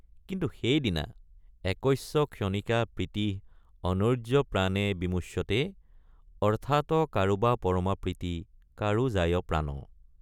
কিন্তু সেইদিনা— একস্য ক্ষণিকা প্ৰীতিঃ অৰ্ন্য়ৈ প্ৰাণে বিমুচ্যতে অৰ্থ্যাৎ কাৰোবা পৰমা প্ৰীতি কাৰো যায় প্ৰাণ।